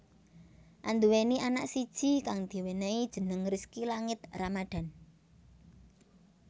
Anduweni anak siji kang diwenehi jeneng Rizky Langit Ramadhan